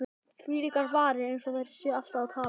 Þvílíkar varir,- eins og þær séu alltaf að tala.